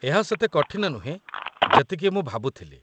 ଏହା ସେତେ କଠିନ ନୁହେଁ, ଯେତିକି ମୁଁ ଭାବୁଥିଲି